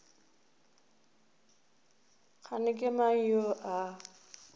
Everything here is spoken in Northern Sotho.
kgane ke mang yo a